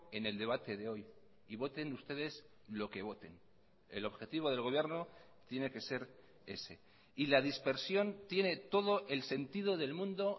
en el debate de hoy y voten ustedes lo que voten el objetivo del gobierno tiene que ser ese y la dispersión tiene todo el sentido del mundo